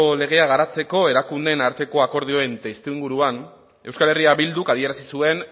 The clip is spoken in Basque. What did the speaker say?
legea garatzeko erakundeen arteko akordioaren testuinguruan euskal herria bilduk adierazi zuen